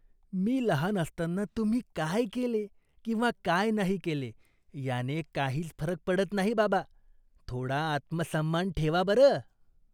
मी लहान असताना तुम्ही काय केले किंवा काय नाही केले याने काहीच फरक पडत नाही, बाबा. थोडा आत्मसन्मान ठेवा, बरं!